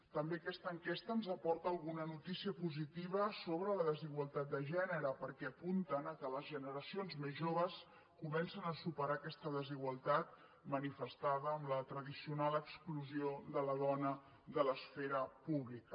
també aquesta enquesta ens aporta alguna notícia positiva sobre la desigualtat de gènere perquè apunta que les generacions més joves comencen a superar aquesta desigualtat manifestada amb la tradicional exclusió de la dona de l’esfera pública